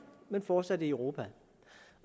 men fortsat i europa